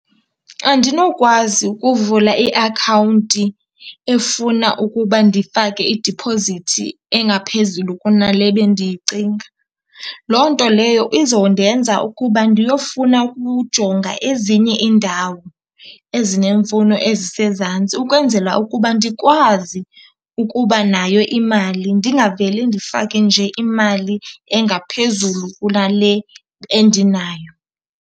Andinokwazi ukuvula iakhawunti efuna ukuba ndifake idiphozithi engaphezulu kunale bendiyicinga. Loo nto leyo izondenza ukuba ndiyofuna ukujonga ezinye iindawo ezineemfuno ezisezantsi, ukwenzela ukuba ndikwazi ukuba nayo imali ndingavele ndifake nje imali engaphezulu kunale bendinayo.